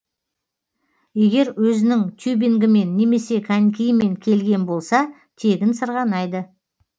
егер өзінің тюбингімен немесе конькиімен келген болса тегін сырғанайды